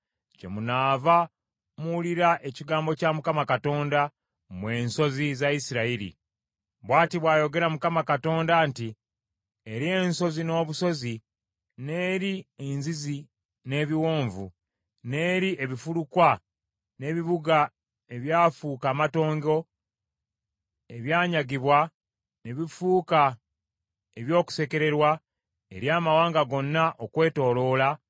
kyemunaava muwulira ekigambo kya Mukama Katonda mmwe ensozi za Isirayiri: Bw’ati bw’ayogera Mukama Katonda nti eri ensozi n’obusozi, n’eri enzizi n’ebiwonvu, n’eri ebifulukwa n’ebibuga ebyafuuka amatongo ebyanyagibwa ne bifuuka eby’okusekererwa eri amawanga gonna okwetooloola